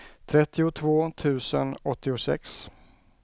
trettiotvå tusen åttiosex